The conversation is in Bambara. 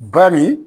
Ba nin